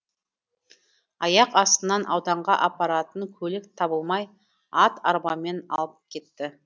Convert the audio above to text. аяқ астынан ауданға апаратын көлік табылмай ат арбамен алып кетті